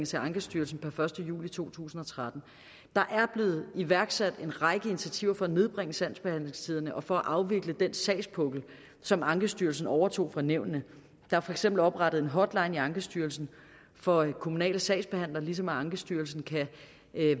til ankestyrelsen per første juli to tusind og tretten der er blevet iværksat en række initiativer for at nedbringe sagsbehandlingstiderne og for at afvikle den sagspukkel som ankestyrelsen overtog fra nævnene der er for eksempel oprettet en hotline i ankestyrelsen for kommunale sagsbehandlere ligesom ankestyrelsen kan